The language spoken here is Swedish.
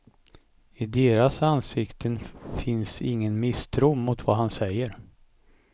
I deras ansikten finns ingen misstro mot vad han säger.